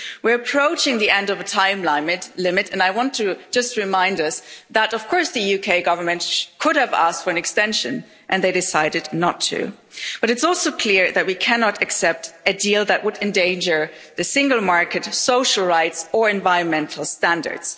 We're approaching the end of the time limit and I just want to remind us that of course the UK Government could have asked for an extension and they decided not to, but it's also clear that we cannot accept a deal that would endanger the single market, social rights or environmental standards.